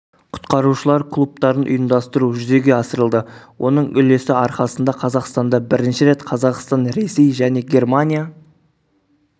құтқарушылар клубтарын ұйымдастыру жүзеге асырылды оның үлесі арқасында қазақстанда бірінші рет қазақстан ресей және германия